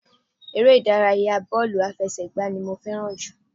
Eré ìdárayá bọ́ọ̀lù aláfẹsẹ́gbá ni mo fẹ́ràn jù